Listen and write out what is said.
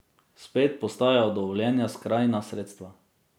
Spet postajajo dovoljena skrajna sredstva.